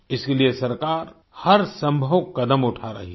इसके लिए सरकार हर संभव कदम उठा रही है